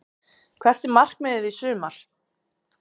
Hvert er markmiðið í sumar?